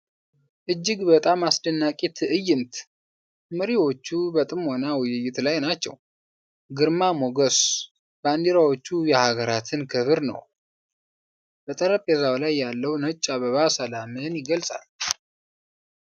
እጅግ በጣም አስደናቂ ትዕይንት! መሪዎቹ በጥሞና ውይይት ላይ ናቸው። ግርማ ሞገስ! ባንዲራዎቹ የሀገራትን ክብር ነው። በጠረጴዛው ላይ ያለው ነጭ አበባ ሰላምን ይገልጻል።